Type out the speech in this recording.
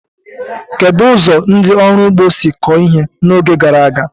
Kedu ụzọ ndị ọrụ ugbo si kọọ ihe n'oge gara aga?